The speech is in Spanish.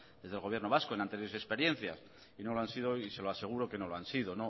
desde el gobierno vasco en anteriores experiencias y no lo han sido y se lo aseguro que no lo han sido